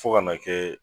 Fo ka n'a kɛ